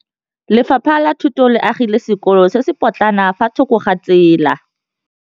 Lefapha la Thuto le agile sekôlô se se pôtlana fa thoko ga tsela.